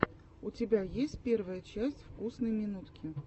у тебя есть первая часть вкусной минутки